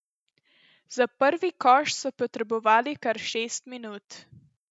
Za prvi koš so potrebovali kar šest minut.